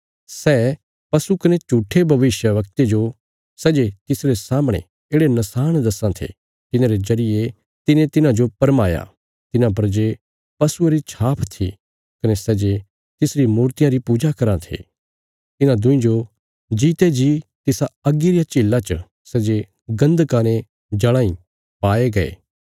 सै पशु कने झूट्ठे भविष्यवक्ते जो सै जे तिसरे सामणे येढ़े नशाण दस्से थे तिन्हांरे जरिये तिने तिन्हांजो भरमाया तिन्हां पर जे पशुये री छाप थी कने सै जे तिसरी मूर्तियां री पूजा कराँ थे इन्हां दुईं जो जीते जी तिसा अग्गी रिया झीला च सै जे गन्धका ने जल़ां इ पाये गये